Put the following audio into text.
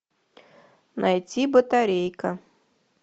найти батарейка